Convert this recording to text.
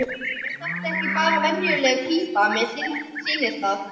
Er þetta ekki bara venjuleg pípa, mér sýnist það.